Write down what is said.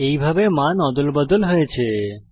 এইভাবে মান অদলবদল হয়েছে